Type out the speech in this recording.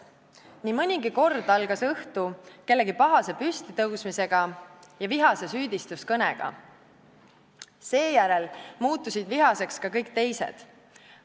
Nii mõnigi kord algas õhtu kellegi pahase püstitõusmisega ja vihase süüdistuskõnega, seejärel muutusid vihaseks ka kõik teised.